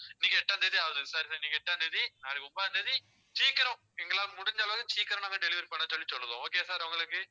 இன்னைக்கு எட்டாம் தேதி ஆகுது sir sir இன்னைக்கு எட்டாம் தேதி நாளைக்கு ஒன்பதாம் தேதி, சீக்கிரம் எங்களால முடிஞ்ச அளவு சீக்கிரம் நாங்க delivery பண்ண சொல்லி சொல்லுறோம் okay யா sir உங்களுக்கு